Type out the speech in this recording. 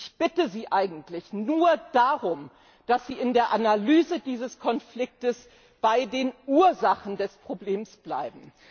Ich bitte Sie eigentlich nur darum, dass Sie in der Analyse dieses Konflikts bei den Ursachen des Problems bleiben.